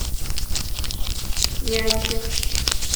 няньки